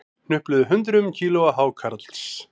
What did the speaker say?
Hnupluðu hundruðum kílóa hákarls